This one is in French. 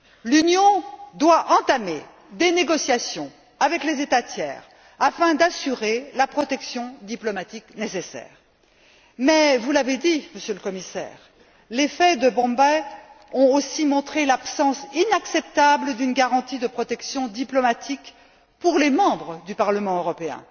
L'Union doit entamer des négociations avec les États tiers afin d'assurer la protection diplomatique nécessaire. Mais, vous l'avez dit, Monsieur le Commissaire, les faits de Bombay ont aussi montré l'absence inacceptable d'une garantie de protection diplomatique pour les membres du Parlement européen.